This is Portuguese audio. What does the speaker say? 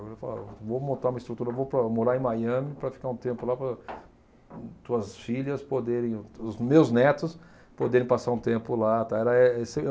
Vou montar uma estrutura, vou para morar em Miami para ficar um tempo lá para tuas filhas poderem, os meus netos, poderem passar um tempo lá, tal. Era e